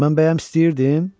Mən bəyəm istəyirdim?